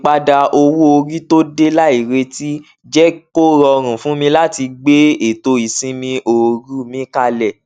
um wọn sábà ń fi owó púpọ ṣàkóso àjọṣepọ àti iléiṣẹ fún àkókò pípẹ